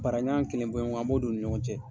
Para ɲan kelen bɔɲɔgo an b'o don u ni ɲɔgɔn cɛ.